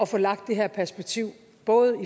få lagt det her perspektiv både